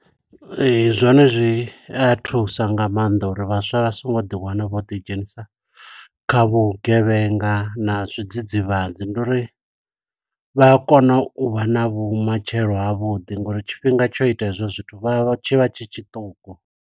Ee, zwone zwi a thusa nga maanḓa uri vhaswa vha songo ḓi wana vho ḓi dzhenisa kha vhugevhenga na zwidzidzivhadzi. Ndi uri vha a kona u vha na vhumatshelo ha vhuḓi, nga uri tshifhinga tsho ita hezwo zwithu vha tshi vha tshi tshiṱuku.